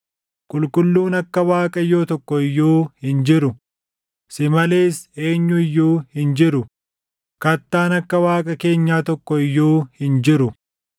“Qulqulluun akka Waaqayyoo tokko iyyuu hin jiru; si malees eenyu iyyuu hin jiru; kattaan akka Waaqa keenyaa tokko iyyuu hin jiru.